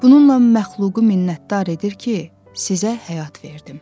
Bununla məxluqu minnətdar edir ki, sizə həyat verdim.